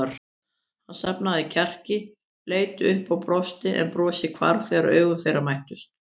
Hann safnaði kjarki, leit upp og brosti en brosið hvarf þegar augu þeirra mættust.